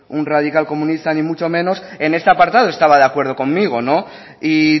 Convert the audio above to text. un radical comunista ni mucho menos en este apartado estaba de acuerdo conmigo y